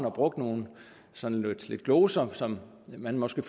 og brugte nogle gloser som man måske